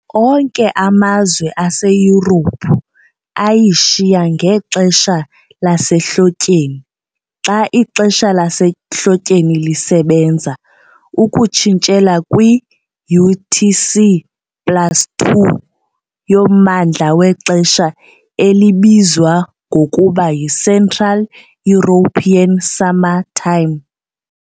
Onke amazwe aseYurophu ayishiya ngexesha lasehlotyeni xa ixesha lasehlotyeni lisebenza, ukutshintshela kwi-UTC plus 2 yommandla wexesha elibizwa ngokuba yiCentral European Summer Time.